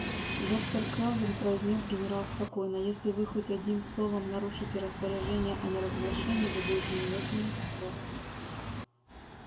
доктор кэлвин произнёс генерал спокойно если вы хоть одним словом нарушите распоряжения о неразглашении вы будете немедленно арестованы